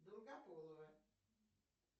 долгополово